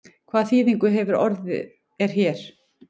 Hvað þýðingu hefur orðið er hér?